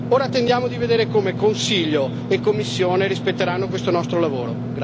Ora attendiamo di vedere come Consiglio e Commissione rispetteranno questo nostro lavoro.